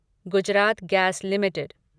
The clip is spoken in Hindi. Gujarat gas limited